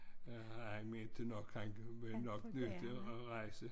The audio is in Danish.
Han mente nok han blev nok nødt til at rejse